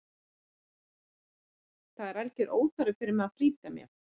Það er algjör óþarfi fyrir mig að flýta mér.